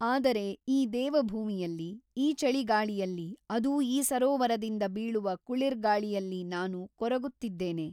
ಆದರೆ ಈ ದೇವಭೂಮಿಯಲ್ಲಿ ಈ ಚಳಿಗಾಳಿಯಲ್ಲಿ ಅದೂ ಈ ಸರೋವರದಿಂದ ಬೀಳುವ ಕುಳಿರ್ಗಾಳಿಯಲ್ಲಿ ನಾನು ಕೊರಗುತ್ತಿದ್ದೇನೆ.